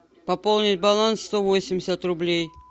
пополнить баланс сто восемьдесят рублей